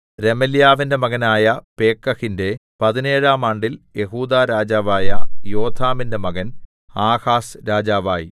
രെമല്യാവിന്റെ മകനായ പേക്കഹിന്റെ പതിനേഴാം ആണ്ടിൽ യെഹൂദാ രാജാവായ യോഥാമിന്റെ മകൻ ആഹാസ് രാജാവായി